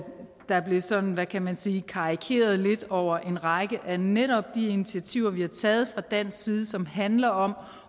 der blev sådan hvad kan man sige karikeret lidt over en række af netop de initiativer vi har taget fra dansk side som handler om